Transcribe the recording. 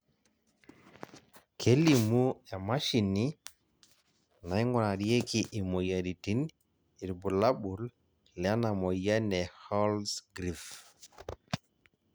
kelimu emashini naingurarieki imoyiaritin irbulabol lena moyian e Holzgreve